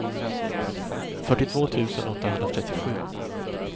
fyrtiotvå tusen åttahundratrettiosju